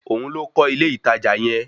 Òun ló kọ́ ilé ìtajà yẹn